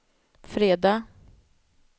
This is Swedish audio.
fredag